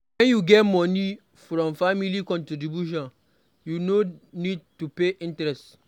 When you get money from family contribution you no need to pay interest